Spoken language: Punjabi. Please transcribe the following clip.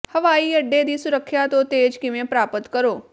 ਹਵਾਈ ਅੱਡੇ ਦੀ ਸੁਰੱਖਿਆ ਤੋਂ ਤੇਜ਼ ਕਿਵੇਂ ਪ੍ਰਾਪਤ ਕਰੋ